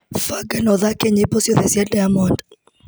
Banga na ũthake nyĩmbo ciothe cia Deamonde.